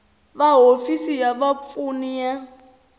va hofisi ya vapfuni ya